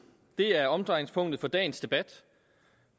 det er omdrejningspunktet for dagens debat